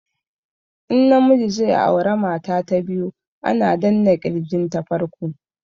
In na miji zai aura mata ta biyu ana danna kirgin ta farko